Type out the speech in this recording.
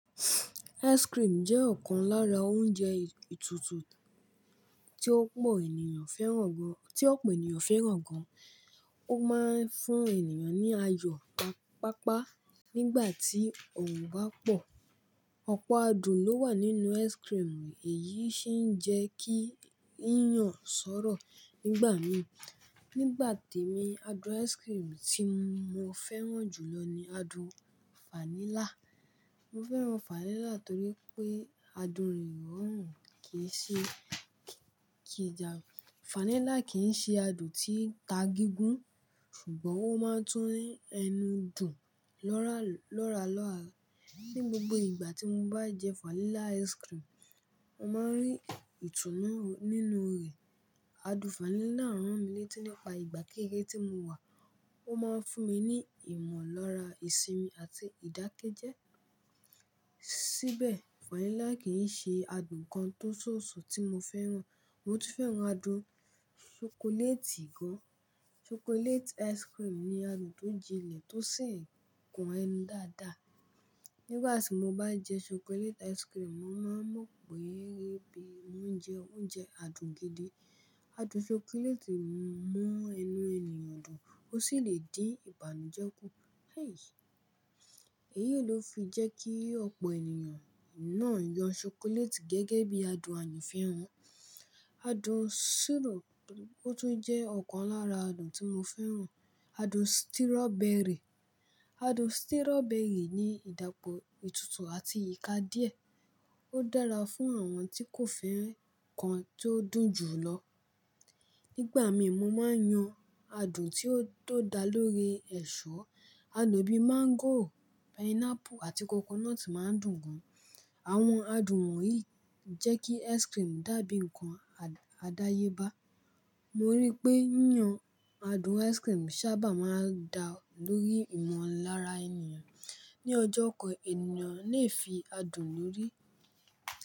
Ice cream jẹ́ ọ̀kan lára oúnjẹ ìtútù tí ọ̀pọ̀ ènìyàn fẹ́ràn gan. Ó máa ń fún ènìyàn ní ayọ̀ páapaa nígbà tí owo bá pọ̀. Ọ̀pọ̀ adùn ló wà nínú ice cream, èyí sì ń jẹ́ kí ń yàn sọ́rọ̀. Nígbà mii, adùn ice cream tí mo fẹ́ràn jù lọ ni adùn vanilla. Mo fẹ́ràn vanilla torí pé adùn rẹ̀ ò mú kí n ja. Vanilla kì í ṣe adùn tí ń ta gígùn, ṣùgbọ́n ó máa ń tú inú ẹnu dùn lọ́ralọ́ra. Ni gbogbo ìgbà tí mo bá jẹ vanilla ice cream, mo máa ń rí ìtùnú nínú rẹ̀. Adùn vanilla rán mi létí nípa ìgbà kékeré tí mo wà, ó máa ń fún mi ní ìmọ̀lára ìsinmi àti ìdákẹ́jẹ́. Síbẹ̀, vanilla kì í ṣe adùn kan tó sọ̀sọ̀ tí mo fẹ́ràn. Mo tún fẹ́ràn adùn ṣokoléètì gan. Chocolate ice cream ni adùn tó jinlẹ̀ tó sì ń kan ẹnu dáadáa. Ni ìgbà tí mo bá jẹ chocolate ice cream, mo máa mọ̀ pé mo ń jẹ oúnjẹ adùn gidi. Adùn ṣokoléètì mú ẹnu ènìyàn dùn, ó sì lè dín ìbànújẹ́ kù. Eyí ló fi jẹ́ kí ọ̀pọ̀ ènìyàn náà yan ṣokoléètì gẹ́gẹ́ bí adùn àyan fẹ́ràn. Adùn ṣíro, ó tún jẹ́ ọ̀kan lára adùn tí mo fẹ́ràn. Adùn stírọbẹrì. Adùn stírọbẹrì ní ìdápọ̀ ìtútù àti ìka díẹ̀. Ó dára fún àwọn tí kò fẹ́ ǹkan tó dùn jù lọ. Nígbà mii, mo máa ń yan adùn tí ó tó da lórí ẹ̀ṣọ́. Adun bii máńgò, pineapple àti coconut máa ń dùn gan. Àwọn adùn wọ̀nyí jẹ́ kí ice cream dàbí ǹkan àdáyébá. Mo rí pé yiyàn adùn ice cream saábà máa ń da lórí ìmọ̀lára ènìyàn. Ni ọjọ́ kan, ènìyàn lè fi adùn lórí.